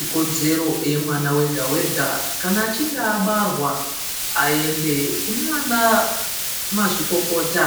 Ikodzero yemwana wega-wega kana achinge abarwa aende kunana mazvikokota